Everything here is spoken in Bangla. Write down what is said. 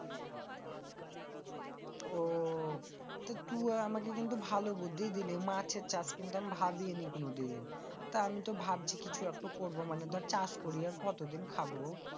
আহ তু আর আমাগে কিন্তু ভালো বুদ্ধি দিলি। মাঠে আমি কিন্তু ভাবিইনি কোনদিন। তা আমিতো ভাবছি কিছু একটা করবো মানে ধর্ চাষ করে আর কত দিন খাবো।